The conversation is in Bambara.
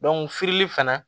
firili fana